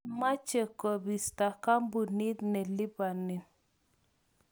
kamech kobisto kampunit ne lipanin